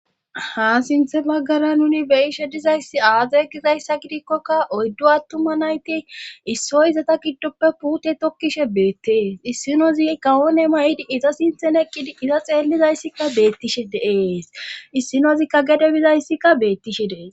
Ha siinththe baggara nuni beyishe dizayssi aaza gizayssa gidikkokka oyddu attuma nayti issoyizata kiddoppe puute tokkishe beettees issinozi kawoone may'idi iza siinththen eqqidi iza xeellizayssikka beettishe de'ees issinozikka gede bizayssikka beettishe dees